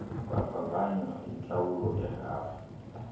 bevavanywa intlawulo yerhafu